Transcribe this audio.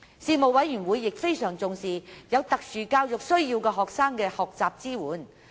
事務委員會亦非常重視有特殊教育需要學生的學習支援。